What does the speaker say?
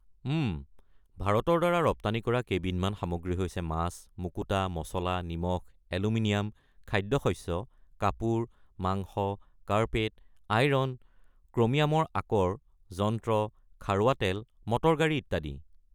উম, ভাৰতৰ দ্বাৰা ৰপ্তানি কৰা কেইবিধমান সামগ্ৰী হৈছে মাছ, মুকুতা, মচলা, নিমখ, এলুমিনিয়াম, খাদ্য-শস্য, কাপোৰ, মাংস, কাৰ্পেট, আইৰণ, ক্ৰোমিয়ামৰ আকৰ, যন্ত্ৰ, খাৰুৱা তেল, মটৰ-গাড়ী ইত্যাদি।